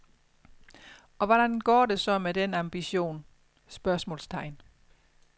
Og hvordan går det så med den ambition? spørgsmålstegn